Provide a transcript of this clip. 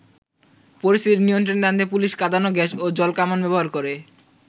পরিস্থিতি নিয়ন্ত্রণে আনতে পুলিশ কাঁদানে গ্যাস ও জল কামান ব্যাবহার করে।